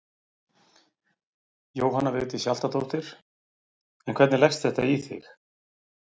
Jóhanna Vigdís Hjaltadóttir: En hvernig leggst þetta í þig?